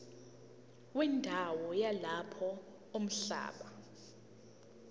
wendawo yalapho umhlaba